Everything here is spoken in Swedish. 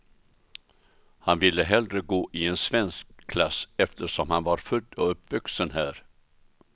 Han ville hellre gå i en svensk klass eftersom han var född och uppvuxen här.